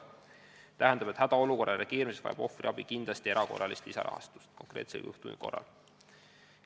Tähendab, hädaolukorrale reageerimiseks vajab ohvriabi kindlasti erakorralist lisarahastust konkreetse juhtumi korral.